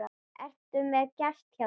Ertu með gest hjá þér